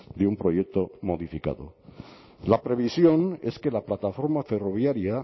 de un proyecto modificado la previsión es que la plataforma ferroviaria